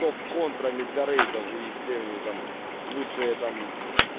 топ контрами для рейдов и всеми там лучшие там